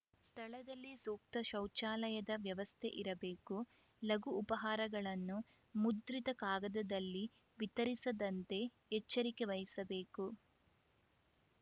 ಸ್ಥಳದಲ್ಲಿ ಸೂಕ್ತ ಶೌಚಾಲಯದ ವ್ಯವಸ್ಥೆ ಇರಬೇಕು ಲಘು ಉಪಾಹಾರಗಳನ್ನು ಮುದ್ರಿತ ಕಾಗದದಲ್ಲಿ ವಿತರಿಸದಂತೆ ಎಚ್ಚರಿಕೆ ವಹಿಸಬೇಕು